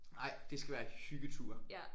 Nej det skal være hyggetur